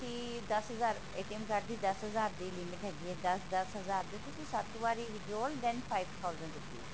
ਤੇ ਤੁਸੀਂ ਦੱਸ ਹਜ਼ਾਰ card ਦੀ ਦੱਸ ਹਜ਼ਾਰ ਤਕ ਦੀ limit ਹੈਗੀ ਹੈ ਦੱਸ ਦੱਸ ਹਜ਼ਾਰ ਦੀ ਤੁਸੀਂ ਸੱਤ ਵਾਰੀ withdraw bank five thousand rupees